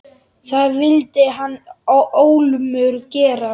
Það vildi hann ólmur gera.